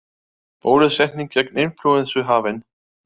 Bólusetning gegn inflúensu hafin